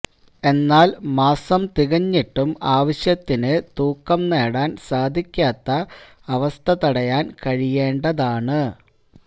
എന്നാല് മാസം തികഞ്ഞിട്ടും ആവശ്യത്തിനു തൂക്കം നേടാന് സാധിക്കാത്ത അവസ്ഥ തടയാന് കഴിയേണ്ടതാണ്